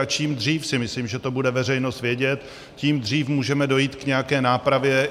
A čím dřív si myslím, že to bude veřejnost vědět, tím dřív můžeme dojít k nějaké nápravě.